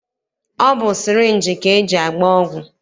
Ọ bụ sịrịnjị ka e ji agba ọgwụ.